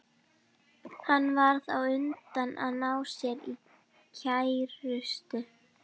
Hann varð þá á undan að ná sér í kærustu.